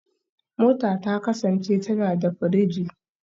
Mota ta kasance tana da firiji